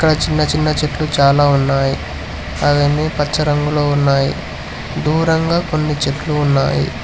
చిన్న చిన్న చెట్టు చాలా ఉన్నాయి అవన్నీ పచ్చ రంగులో ఉన్నాయి దూరంగా కొన్ని చెట్లు ఉన్నాయి.